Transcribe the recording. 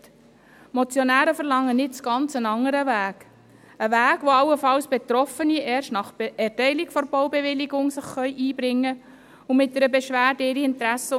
Die Motionäre fordern nur einen ganz anderen Weg, auf dem sich allenfalls Betroffene ihre Interessen und Anliegen erst nach Erteilung der Baubewilligung mit einer Beschwerde anmelden können.